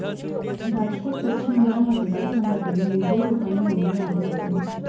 राजकोट पश्चिम या मतदारसंघातून विजय रुपाणी निवडून आले होते